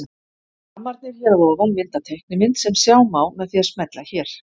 Rammarnir hér að ofan mynda teiknimynd sem sjá má með því að smella hér.